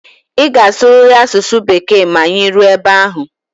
Ị ga-asụrịrị asụsụ Bekee ma anyị ruo ebe ahụ!